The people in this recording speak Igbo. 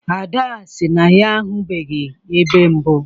Ada sị na ya ahụbeghị ebe mbụ